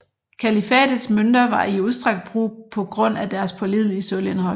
Kalifates mønter var i udstrakt brug på grund af deres pålidelige sølvindhold